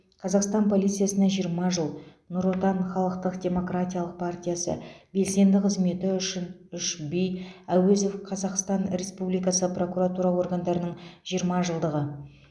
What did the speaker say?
қазақстан полициясына жиырма жыл нұр отан халықтық демократиялық партиясы белсенді қызметі үшін үш би әуезов қазақстан республикасы прокуратура органдарының жиырма жылдығы